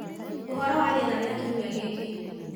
Ũhoro wa rĩera rĩa kiumia gĩkĩ